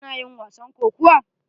Kana yin wasan kokuwa?